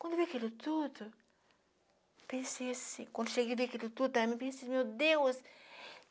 Quando eu vi aquilo tudo, pensei assim... Quando cheguei a ver aquilo tudo, aí eu pensei, meu Deus!